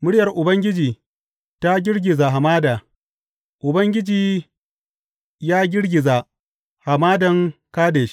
Muryar Ubangiji ta girgiza hamada Ubangiji ya girgiza Hamadan Kadesh.